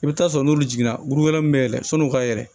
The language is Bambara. I bɛ taa sɔrɔ n'olu jiginna bulu wɛrɛ min bɛ yɛlɛn sɔnni' u ka yɛlɛ